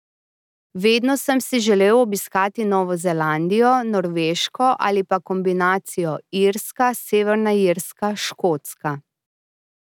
Vedno sem si želel obiskati Novo Zelandijo, Norveško ali pa kombinacijo Irska, Severna Irska, Škotska.